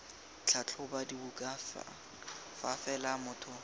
tlhatlhoba dibuka fa fela motho